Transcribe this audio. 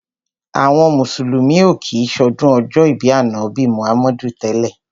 Àwọn mùsùlùmí ò kí ń ṣọdún ọjọ́ ìbí Ànábì Muhammadu tẹ́lẹ̀.